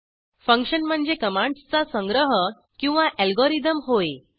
function म्हणजे कमांडसचा संग्रह किंवा अल्गोरिदम होय